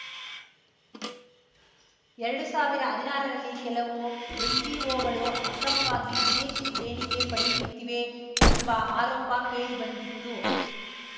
ಎರಡು ಸಾವಿರ ಹದ್ನಾರರಲ್ಲಿ ಕೆಲವು ಎನ್‌ಜಿಓಗಳು ಅಕ್ರಮವಾಗಿ ವಿದೇಶಿ ದೇಣಿಗೆ ಪಡೆಯುತ್ತಿವೆ ಎಂಬ ಆರೋಪ ಕೇಳಿಬಂದಿತ್ತು